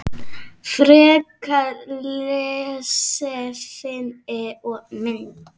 Frekara lesefni og myndir